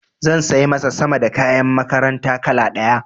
Za sai masa sama da kayan makaranta kala ɗaya.